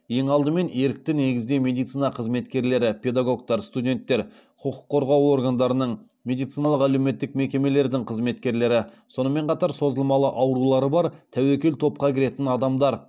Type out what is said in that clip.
ең алдымен ерікті негізде медицина қызметкерлері педагогтар студенттер құқық қорғау органдарының медициналық әлеуметтік мекемелердің қызметкерлері сонымен қатар созылмалы аурулары бар тәуекел топқа кіретін адамдар